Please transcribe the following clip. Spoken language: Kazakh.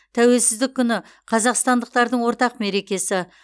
тәуелсіздік күні қазақстандықтардың ортақ мерекесі